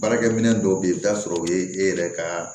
Baarakɛ minɛn dɔw bɛ yen i bɛ t'a sɔrɔ o ye e yɛrɛ ka